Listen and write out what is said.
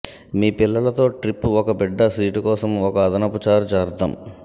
మీ పిల్లల తో ట్రిప్ ఒక బిడ్డ సీటు కోసం ఒక అదనపు చార్జ్ అర్థం